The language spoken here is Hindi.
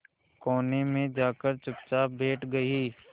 कोने में जाकर चुपचाप बैठ गई